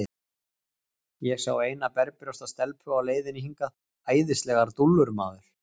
Ég sá eina berbrjósta stelpu á leiðinni hingað, æðislegar dúllur, maður.